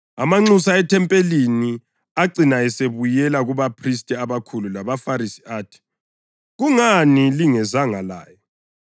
Amanxusa ethempelini acina esebuyela kubaphristi abakhulu labaFarisi athi, “Kungani lingezanga laye?”